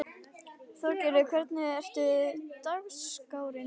Þorgarður, hvernig er dagskráin?